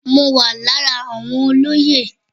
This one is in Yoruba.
Mo wà lára àwọn olóyè.